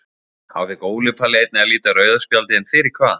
Þá fékk Óli Palli einnig að líta rauða spjaldið en fyrir hvað?